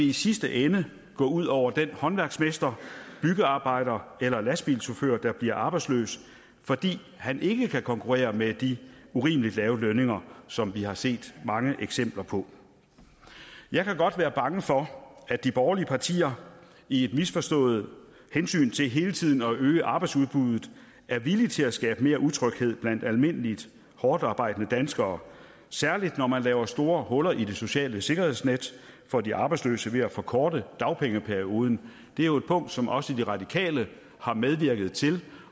i sidste ende gå ud over den håndværksmester byggearbejder eller lastbilchauffør der bliver arbejdsløs fordi han ikke kan konkurrere med de urimelig lave lønninger som vi har set mange eksempler på jeg kan godt være bange for at de borgerlige partier i et misforstået hensyn til hele tiden at øge arbejdsudbuddet er villige til at skabe mere utryghed blandt almindelige hårdtarbejdende danskere særlig når man laver store huller i det sociale sikkerhedsnet for de arbejdsløse ved at forkorte dagpengeperioden det er jo et punkt som også de radikale har medvirket til